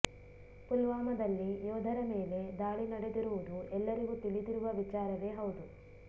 ಪುಲ್ವಾಮಾದಲ್ಲಿ ಯೋಧರ ಮೇಲೆ ದಾಳಿ ನಡೆದಿರುವುದು ಎಲ್ಲರಿಗೂ ತಿಳಿದಿರುವ ವಿಚಾರವೇ ಹೌದು